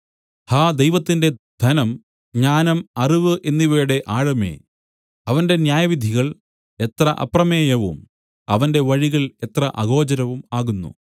ഹാ ദൈവത്തിന്റെ ധനം ജ്ഞാനം അറിവു എന്നിവയുടെ ആഴമേ അവന്റെ ന്യായവിധികൾ എത്ര അപ്രമേയവും അവന്റെ വഴികൾ എത്ര അഗോചരവും ആകുന്നു